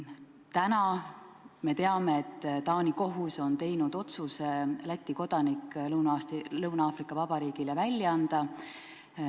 Täna me teame, et Taani kohus on teinud otsuse Läti kodanik Lõuna-Aafrika Vabariigile välja anda.